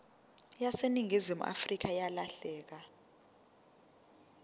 yaseningizimu afrika yalahleka